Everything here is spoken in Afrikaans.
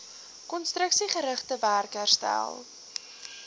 konstruksiegerigte werk herstel